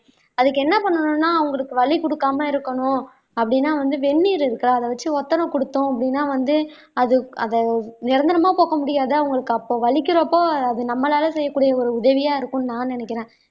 அதுக்கு என்ன பண்ணனும்னா அவங்களுக்கு வலி கொடுக்காம இருக்கணும் அப்படீன்னா வந்து வெந்நீர் இருக்குல்ல அத வச்சு ஒத்தடம் கொடுத்தோம் அப்படீன்னா வந்து அது அத நிரந்தரமா போக்க முடியாது அவங்களுக்கு அப்போ வலிக்கிறப்போ அது நம்மளால செய்யக்கூடிய ஒரு உதவியா இருக்கும்னு நான் நினைக்கிறேன்